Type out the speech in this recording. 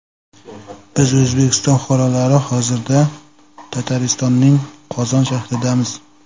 Biz O‘zbekiston fuqarolari hozirda Tataristonning Qozon shahridamiz.